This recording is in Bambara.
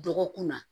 Dɔgɔkun na